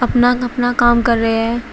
अपना अपना काम कर रहे हैं।